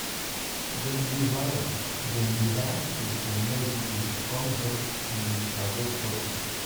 dem dey hire dem dey hire people from near village cum help um harvest cotton.